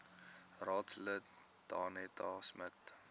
raadslid danetta smit